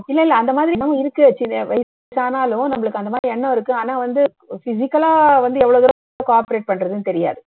இல்ல இல்ல அந்தமாதிரி இருக்கு வயசு ஆனாலும் நம்மளுக்கு வந்து அந்த எண்ணம் இருக்கு ஆனா வந்து physical ஆ வந்து எவ்ளோ தூரம் co-operate பண்றதுன்னு தெரியாது